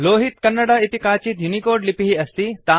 लोहित कन्नडा इति काचित् यूनिकोड लिपिः अस्ति